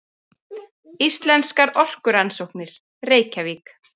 Íslenskar orkurannsóknir, Reykjavík.